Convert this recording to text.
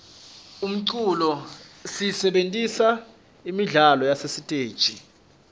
umculo siyisebentisela imidlalo yasesiteji